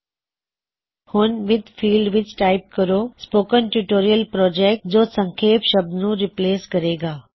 ਹੁਣ with field ਵਿੱਚ type ਕਰੋ spoken tutorial project spoken tutorial project ਜੋ ਸੰਖੇਪ ਸ਼ਬਦ ਨੁੰ ਰਿਪ੍ਲੇਸ ਕਰੇਗਾ